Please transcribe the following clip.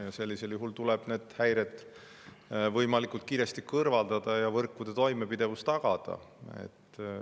Ja sellisel juhul tuleb need häired võimalikult kiiresti kõrvaldada ja võrkude toimepidevus tagada.